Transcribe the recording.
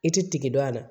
I ti tigi dɔn a la